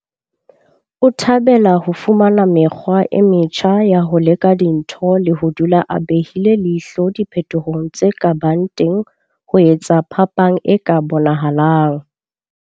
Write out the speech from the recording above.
O thabela ho fumana mekgwa e metjha ya ho leka dintho le ho dula a behile leihlo diphetohong tse ka bang teng ho etsa phapang e ka bonahalang.